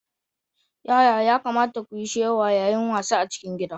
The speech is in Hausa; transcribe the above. Yaya ya kamata kuyi shewa yayin wasa a ciki gida?